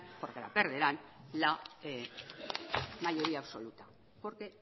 porque la perderán la mayoría absoluta porque